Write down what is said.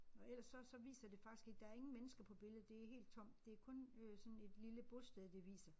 Og ellers så så viser det faktisk ikke der ingen mennesker på billedet det helt tomt det kun øh sådan et lille bosted de viser